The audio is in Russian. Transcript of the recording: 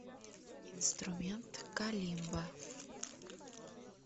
инструмент калимба